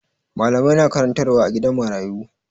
Malamai na karantarwa a gidan marayu.